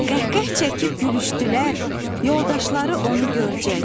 Qəhqəh çəkib gülüşdülər yoldaşları onu görcək.